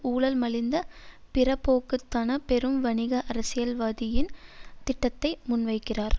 ஊழல் மலிந்த பிறபோக்குத்தன பெரும் வணிக அரசியல் வாதியின் திட்டத்தை முன்வைக்கிறார்